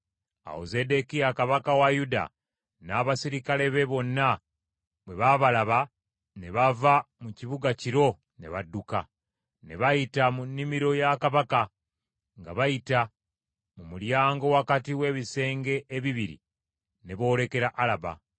Awo Zeddekiya kabaka wa Yuda n’abaserikale be bonna bwe babalaba ne bava mu kibuga kiro ne badduka; ne bayita mu nnimiro ya kabaka, nga bayita mu mulyango wakati w’ebisenge ebibiri, ne boolekera Alaba.